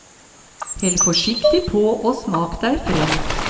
Hell forsiktig på og smak deg frem.